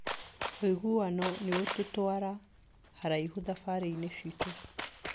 Ũiguano nĩ ũtũtũara haraihu thabarĩ-inĩ citũ.